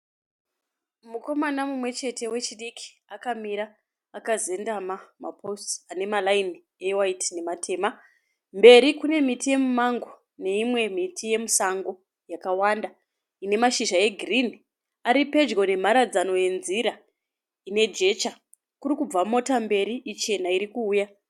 Mukomana mumwe chete wechidiki akamira akazendama mapositi ane marayini ewayiti nematema. Mberi kune miti yemimango neyimwe miti yemusango yakawanda ine mashizha egirini. Ari pedyo nemharadzano yenzira ine jecha. Kuri kubva mota mberi chena iri kuuya.